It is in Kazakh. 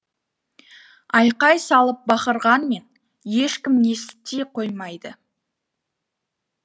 айқай салып бақырғанмен ешкім ести қоймайды